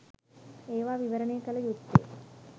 ඒවා විවරණය කළ යුත්තේ